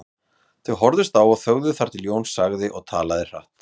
Þau horfðust á og þögðu þar til Jón sagði og talaði hratt